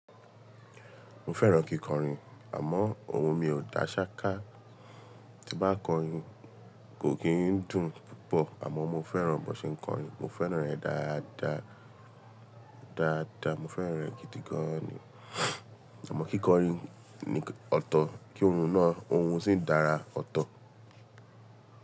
Mo fẹ́ràn kíkọrin àmọ́ ohun mi ò dá ṣáká. Ti bá kọrin, kò kí ń dùn púpọ̀ àmọ́ mo fẹ́ràn bó se ń kọrin. Mo fẹ́ràn rẹ̀ dáadáa. Dáadáa. Mo fẹ́ràn rẹ̀ gidi gan ni. Àmọ́ kíkọrin ni ọ̀tọ̀ kí ohun náà, ohun sì dára ọ̀tọ̀.